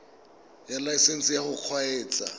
ya laesesnse ya go kgweetsa